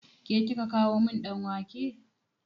Ke kika kawo min ɗan wake?